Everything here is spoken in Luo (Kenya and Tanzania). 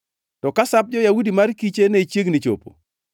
To ka Sap jo-Yahudi mar Kiche ne chiegni chopo,